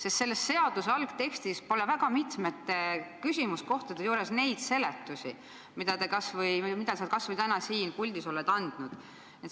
Sest selle seaduse algtekstis pole mitmete küsimuskohtade juures neid seletusi, mida sa kas või täna siin puldis oled andnud.